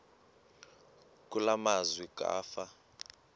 kule meazwe kwafa